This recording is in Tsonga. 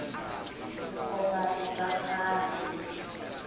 vukhomba i bya khale